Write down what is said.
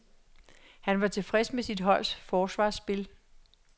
Han var tilfreds med sit holds forsvarsspil.